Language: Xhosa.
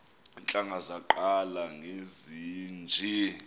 iintlanga zaqala ngezinje